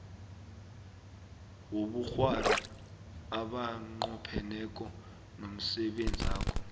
wobukghwari abanqopheneko nomsebenzakho